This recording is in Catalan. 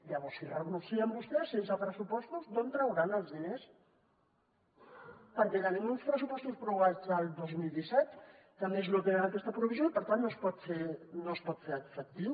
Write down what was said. llavors si hi renuncien vostès sense pressupostos d’on trauran els diners perquè tenim uns pressupostos prorrogats del dos mil disset que a més no tenen aquesta provisió i per tant no es pot fer efectiu